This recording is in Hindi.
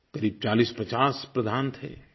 क़रीब 4050 प्रधान थे